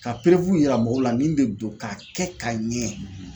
Ka yira mɔgɔw la min de do k'a kɛ ka ɲɛ.